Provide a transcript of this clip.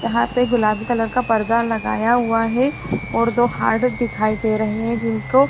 यहां पे गुलाबी कलर का पर्दा लगाया हुआ है और दो हार्ड दिखाई दे रहे हैं जिनको --